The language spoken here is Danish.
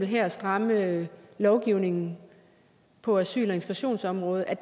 her at stramme lovgivningen på asyl og integrationsområdet